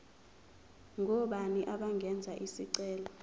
ngobani abangenza isicelo